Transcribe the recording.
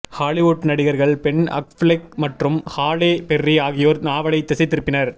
Hollywood நடிகர்கள் Ben Affleck மற்றும் Halle Berry ஆகியோர் நாவலை திசைதிருப்பினர்